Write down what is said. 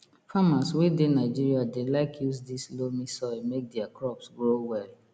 farmers wey dey nigeria dey like use this loamy soil make their crops grow well